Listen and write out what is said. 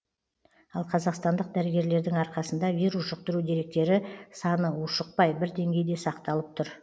ал қазақстандық дәрігерлердің арқасында вирус жұқтыру деректері саны ушықпай бір деңгейде сақталып тұр